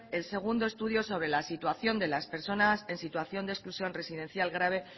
el segundo estudio sobre la situación de las personas en situación de exclusión residencial grave